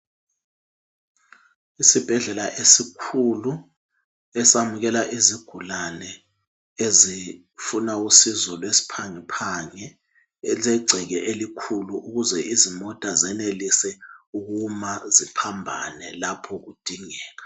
Isibhedlela esikhulu esamukela izigulane ezifuna usizo lwesiphangephange esilegceke elikhulu ukuze imota zenelise ukuma ziphambane lapho kudingeka